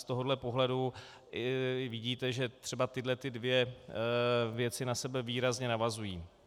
Z tohoto pohledu vidíte, že třeba tyto dvě věci na sebe výrazně navazují.